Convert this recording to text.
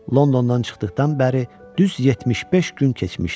Londondan çıxdıqdan bəri düz 75 gün keçmişdi.